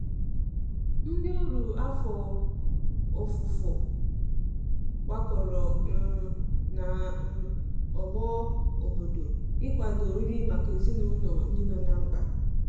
Ndi ọrụ afọ ọfufo gbakọrọ um na um ogbo obodo ị kwado nri maka ezinulo ndi nọ na mkpa